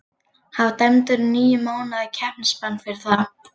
Hann var dæmdur í níu mánaða keppnisbann fyrir það.